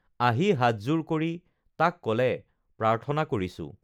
আহি হাতযোৰ কৰি তাক কলে প্ৰাৰ্থনা কৰিছোঁ